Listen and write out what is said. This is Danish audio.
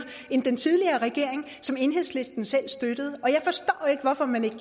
end den tidligere regering som enhedslisten selv støttede og jeg forstår ikke hvorfor man ikke